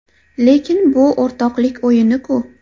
Lekin bu o‘rtoqlik o‘yini-ku.